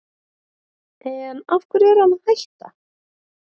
En af hverju er hann að hætta?